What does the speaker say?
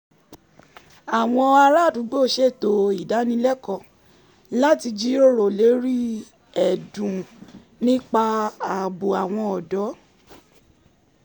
àwọn ará àdúgbò ṣètò idanilẹ́kọ̀ọ́ láti jíròrò lórí ẹ̀dùn nípa ààbò àwọn ọ̀dọ́